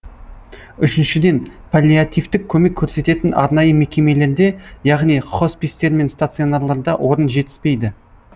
үшіншіден паллиативтік көмек көрсететін арнайы мекемелерде яғни хоспистер мен стационарларда орын жетіспейді